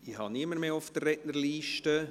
Ich habe niemanden mehr auf der Liste.